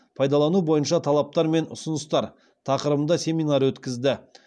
пайдалану бойынша талаптар мен ұсыныстар тақырыбында семинар өткізді